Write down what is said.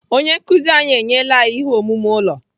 Onye nkụzi anyị enyela anyị ihe omume ụlọ.